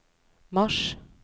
mars